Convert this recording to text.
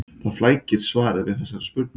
Það flækir svarið við þessari spurningu.